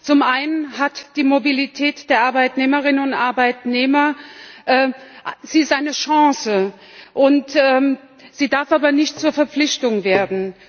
Zum einen ist die Mobilität der Arbeitnehmerinnen und Arbeitnehmer eine Chance sie darf aber nicht zur Verpflichtung werden.